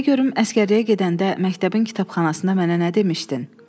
De görüm əsgərliyə gedəndə məktəbin kitabxanasında mənə nə demişdin?